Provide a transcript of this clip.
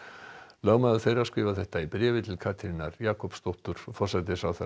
lögmaður þeirra skrifar þetta í bréfi til Katrínar Jakobsdóttur forsætisráðherra